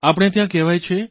આપણે ત્યાં કહેવાય છે